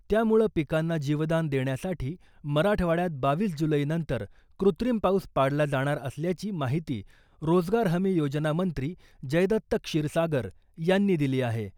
त्यामुळं पिकांना जीवदान देण्यासाठी मराठवाड्यात बावीस जुलैनंतर कृत्रिम पाऊस पाडला जाणार असल्याची माहिती रोजगार हमी योजना मंत्री जयदत्त क्षीरसागर यांनी दिली आहे.